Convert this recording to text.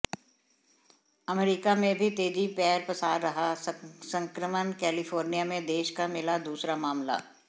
अमरीका में भी तेजी पैर पसार रहा संक्रमण कैलिफोर्निया में देश का मिला दूसरा मामला